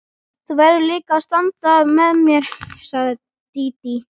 Þú verður líka að standa með mér, sagði Dídí.